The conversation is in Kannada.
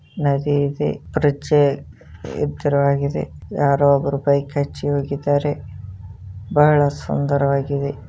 ನದಿ ಇದೆ ಬ್ರಿಜ್ ಯೇತ್ತರವಾಗಿದೆ ಯಾರೋ ಒಬ್ಬರು ಬೈಕ್ ಹಚ್ಚಿ ಹೋಗಿದ್ದಾರೆ ಬಹಳ ಸುಂದರವಾಗಿದೆ.